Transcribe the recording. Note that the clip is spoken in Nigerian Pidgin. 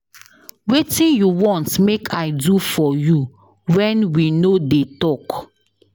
Wetin you want make I do for you wen we no dey talk.